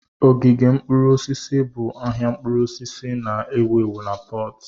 Ogige mkpụrụ osisi bụ ahịa mkpụrụ osisi na-ewu ewu na Pọtu.